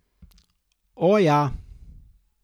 O, ja!